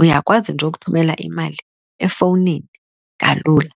Uyakwazi nje ukuthumela imali efowunini kalula.